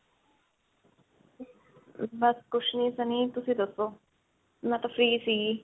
ਬਸ, ਕੁਝ ਨਹੀਂ Sunny, ਤੁਸੀਂ ਦੱਸੋ. ਮੈਂ ਤਾਂ free ਸੀ.